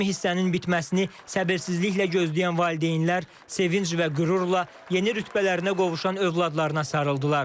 Rəsmi hissənin bitməsini səbirsizliklə gözləyən valideynlər sevinc və qürurla yeni rütbələrinə qovuşan övladlarına sarıldılar.